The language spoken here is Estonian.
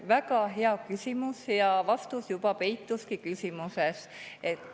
Väga hea küsimus, ja vastus juba peituski küsimuses.